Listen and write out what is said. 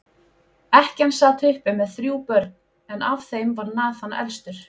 Ekkjan sat uppi með þrjú börn, en af þeim var Nathan elstur.